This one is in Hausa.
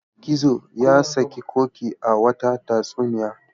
Gizo ya saki Ƙoƙi a wata tatsuniya.